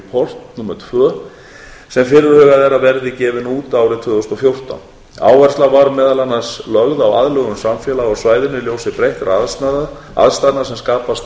human development report tvö sem fyrirhugað er að verði gefin út árið tvö þúsund og fjórtán áhersla var meðal annars lögð á aðlögun samfélaga á svæðinu í ljósi breyttra aðstæðna sem skapast